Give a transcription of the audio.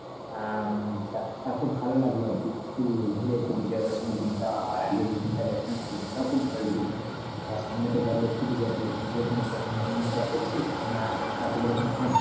আহ উম তা খুব ভালো লাগলো আর কি ঘুড়ে এসে বিজয়া দশমীর দিন টাও আবার তা সামনে তো ধর লক্ষ্মী পূজা তো লক্ষ্মী পূজার কোনো planning টলানিং গুলা করছিস? না আহ তোদের ওখানে হয় না?